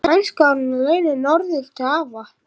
Kannski var hún á leiðinni norður til afa.